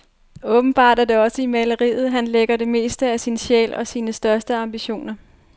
Åbenbart er det også i maleriet, han lægger det meste af sin sjæl og sine største ambitioner.